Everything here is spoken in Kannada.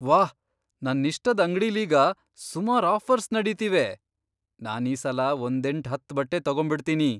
ವಾಹ್! ನನ್ನಿಷ್ಟದ್ ಅಂಗ್ಡಿಲೀಗ ಸುಮಾರ್ ಆಫರ್ಸ್ ನಡೀತಿವೆ. ನಾನೀಸಲ ಒಂದೆಂಟ್ ಹತ್ತ್ ಬಟ್ಟೆ ತಗೊಂಬಿಡ್ತೀನಿ.